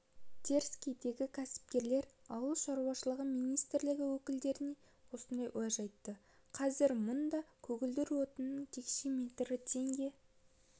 теріскейдегі кәсіпкерлер ауыл шаруашылығы министрлігі өкілдеріне осындай уәж айтты қазір мұнда көгілдір отынның текше метрі теңге